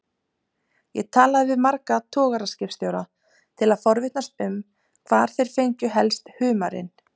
Ég talaði við marga togaraskipstjóra til að forvitnast um hvar þeir fengju helst humarinn.